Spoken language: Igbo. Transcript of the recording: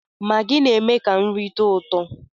Maggi na-eme ka nri tọọ ụtọ